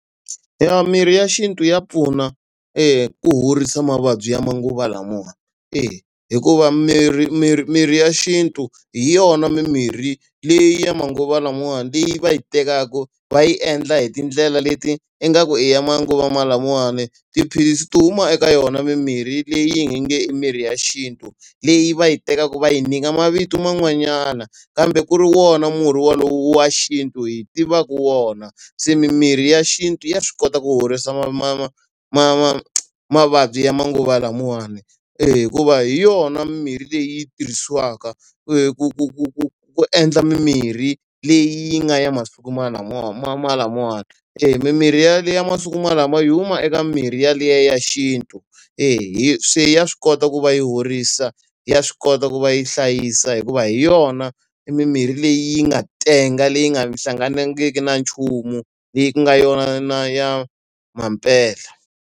Eya mirhi ya xintu ya pfuna ku horisa mavabyi ya manguva lamawani. E. Hikuva mirhi mirhi mirhi ya xintu hi yona mimirhi leyi ya manguva lamawani leyi va yi tekaka va yi endla hi tindlela leti ingaku i ya manguva lamawani. Tiphilisi to huma eka yona mimirhi leyi nge mirhi ya xintu, leyi va yi tekaka va yi nyika mavito man'wanyana kambe ku ri wona murhi wolowo wa xintu hi tivaka wona. Se mimirhi ya xintu ya swi kota ku horisa mavabyi ya manguva lamawani. E hikuva hi yona mirhi leyi tirhisiwaka ku ku ku ku ku endla mimirhi leyi nga ya masiku ma lamawani. Emimirhi ya ya masiku lama yi huma eka mimirhi yaliya ya xintu. E se swi ya swi kota ku va yi horisa, ya swi kota ku va yi hlayisa hikuva hi yona i mimirhi leyi yi nga tenga leyi nga hlanganisiki na nchumu leyi ku nga yona na ya mampela.